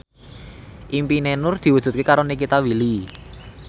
impine Nur diwujudke karo Nikita Willy